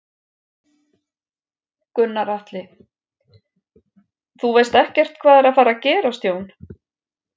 Gunnar Atli: Þú veist ekkert hvað er að fara gerast Jón?